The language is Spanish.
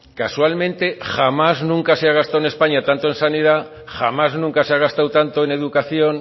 casualmente jamás nunca se ha gastado en españa tanto en sanidad jamás nunca se ha gastado tanto en educación